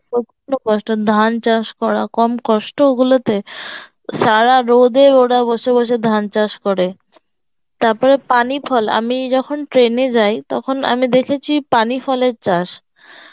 প্রচন্ড কষ্ট ধান চাষ করা কম কষ্ট ওগুলোতে সারা রোদে ওরা বসে বসে ধান চাষ করে তারপরে পানি ফল আমি যখন train এ যাই তখন আমি দেখেছি পানিফলের চাষ